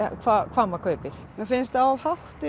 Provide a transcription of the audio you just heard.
hvað hvað maður kaupir mér finnst það of hátt